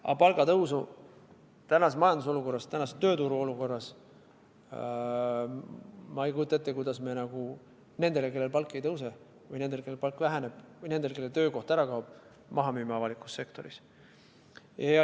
Aga palgatõusu tänases majandusolukorras, tänases tööturu olukorras, ma ei kujuta ette, kuidas me nendele, kellel palk ei tõuse, või nendele, kellel palk väheneb, või nendele, kelle töökoht ära kaob, maha müüme avalikus sektoris.